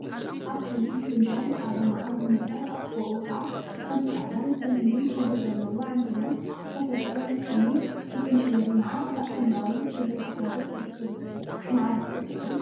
አብ ሓንቲ ፍንጃል ፃዕዳ መዓር ዝመልአ አብ ጥቅኡ ከዓ ሓንቲ ፃዕዳን ፀሊምን ሕብሪ ዘለዋ ዕምበባን ዝተፈግአ ዘይትሁንን ምስ መሕበሪ መዓር አብ ሰማያዊ ሕብሪ ድሕረ ገጽ ይርከቡ፡፡ መዓር እኮ ክጥዕም…